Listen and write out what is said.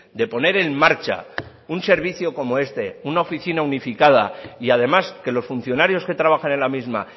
de poner en marcha un servicio como este una oficina unificada y además que los funcionarios que trabajan en la misma